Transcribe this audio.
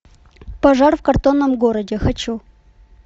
пожар в картонном городе хочу